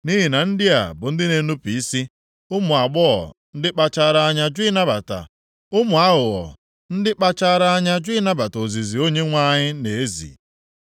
Nʼihi na ndị a bụ ndị na-enupu isi, ụmụ aghụghọ ndị kpachaara anya jụ ịnabata ozizi Onyenwe anyị na-ezi.